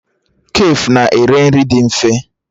Kafe na-ere nri dị mfe